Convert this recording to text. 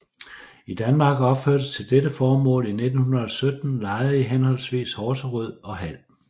I Danmark opførtes til dette formål i 1917 lejre i henholdsvis Horserød og Hald